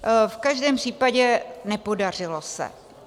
V každém případě, nepodařilo se.